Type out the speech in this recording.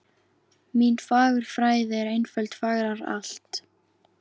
Mín fagurfræði er einföld fegrar allt